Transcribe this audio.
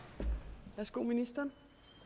går ministeren